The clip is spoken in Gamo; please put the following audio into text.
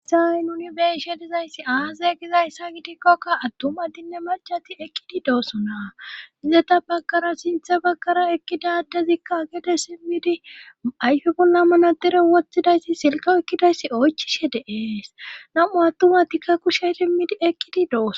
isaai nuni beishe dizayssi aazay gizayssa gidikkoka attumadinne macati ekkidi doosona izeta bakkara sinthe bakkara ekkidadezikka agede simmidi ayfe bolla mana dere wothidayssi silko ekkidayssi oychishe deees namu attumatikka kushey timmidi ekkidi doos